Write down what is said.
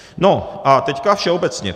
A teď všeobecně.